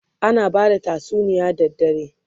ana bada tatsuniya da dare